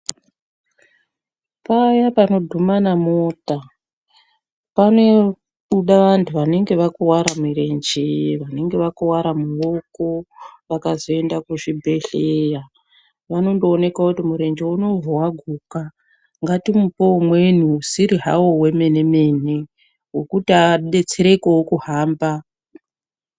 Paya panodhuma mota panobuda vantu vanenge vakuwara mirenje vanenge vakuwara mioko vakazoenda kuzvibhehleya vanondooneka kuti murenje uno hawa guka ngati mupe umweni usiri hawo wemenemene wekuti adetserekewo kuhamba.